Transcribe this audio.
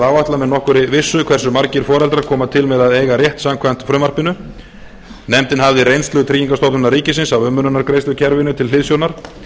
áætla með nokkurri vissu hversu margir foreldrar koma til með að eiga rétt samkvæmt frumvarpinu nefndin hafði reynslu tryggingastofnunar ríkisins af umönnunargreiðslukerfinu til hliðsjónar